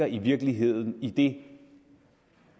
i virkeligheden ligger i det